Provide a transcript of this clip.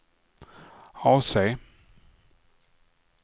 AC